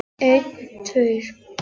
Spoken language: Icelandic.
Svo varð að vera vaktmaður á staðnum.